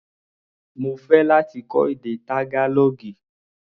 Mo fẹ́ láti kọ́ èdè Tágálọ́ọ̀gì.